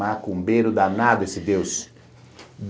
Macumbeiro danado esse Deus.